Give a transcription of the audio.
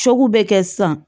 bɛ kɛ sisan